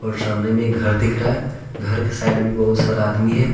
और सामने में एक घर दिख रहा है घर के साइड भी बहुत सारा आदमी है।